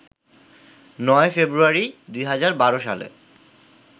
৯ ফেব্রুয়ারি, ২০১২ সালে